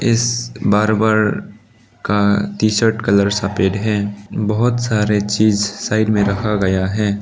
इस बारबर का T shirt colour सफेद है बहुत सारे चीज साइड में रखा गया है।